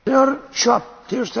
Liebe Frau Kollegin!